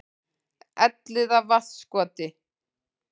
Elliðavatnskoti